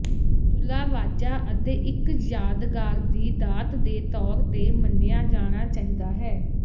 ਤੁਲਾ ਵਾਜਾ ਅਤੇ ਇੱਕ ਯਾਦਗਾਰ ਦੀ ਦਾਤ ਦੇ ਤੌਰ ਤੇ ਮੰਨਿਆ ਜਾਣਾ ਚਾਹੀਦਾ ਹੈ